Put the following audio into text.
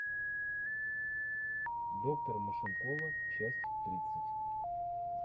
доктор машинкова часть тридцать